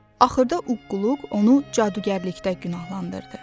Axırda uqquq onu cadugərlikdə günahlandırdı.